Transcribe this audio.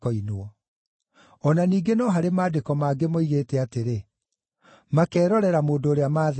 O na ningĩ no harĩ Maandĩko mangĩ moigĩte atĩrĩ, “Makeerorera mũndũ ũrĩa maathecire.”